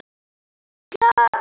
Klárt víti!